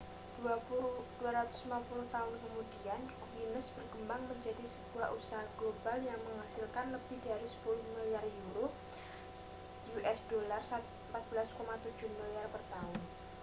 250 tahun kemudian guinness berkembang menjadi sebuah usaha global yang menghasilkan lebih dari 10 miliar euro us$ 14,7 miliar per tahun